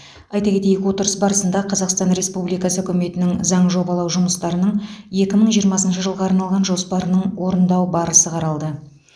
айта кетейік отырыс барысында қазақстан республикасы үкіметінің заң жобалау жұмыстарының екі мың жиырмасыншы жылға арналған жоспарының орындалу барысы қаралды